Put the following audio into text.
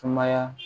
Sumaya